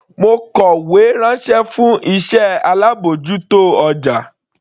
Mo kọ̀wé ránṣẹ́ fún iṣẹ́ alábòjútó ọjà.